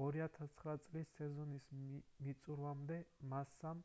2009 წლის სეზონის მიწურვამდე მასსამ